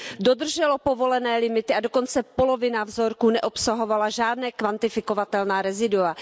dodrželo povolené limity a dokonce polovina vzorků neobsahovala žádná kvantifikovatelná rezidua.